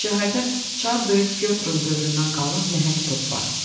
Şəhərdə çar böyük Pyotrun dövründən qalma nəhəng top var.